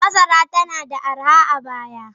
Masara nada arha a baya.